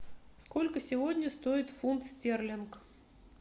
сколько сегодня стоит фунт стерлинг